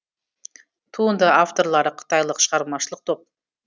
туынды авторлары қытайлық шығармашылық топ